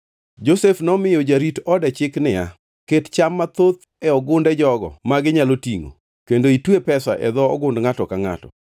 Josef nomiyo jarit ode chik niya, “Ket cham mathoth e gunde jogo ma ginyalo tingʼo, kendo itwe pesa e dho ogund ngʼato ka ngʼato.